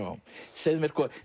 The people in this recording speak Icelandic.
segðu mér